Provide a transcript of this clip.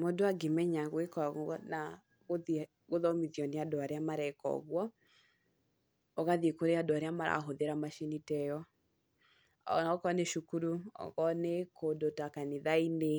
Mũndũ angĩmenya gwĩka ũgũo na gũthiĩ gũthomithio nĩ andũ arĩa mareka ũguo, ũgathiĩ kũrĩ andũ arĩa marahũthĩra macini ta ĩyo , ona akorwo nĩ cũkũrũ, okorwo nĩ kũndũ ta kanitha-inĩ ,